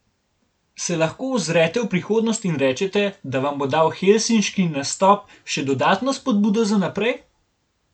Se lahko ozrete v prihodnost in rečete, da vam bo dal helsinški nastop še dodatno spodbudo za naprej?